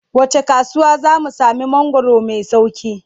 Wacce kasuwa za mu sami mangwaro mai sauƙi?